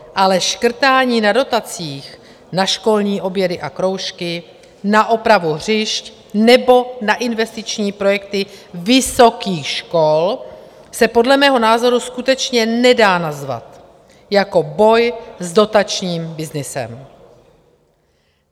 Ale škrtání na dotacích na školní obědy a kroužky, na opravu hřišť nebo na investiční projekty vysokých škol se podle mého názoru skutečně nedá nazvat jako boj s dotačním byznysem.